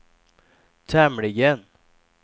tämligen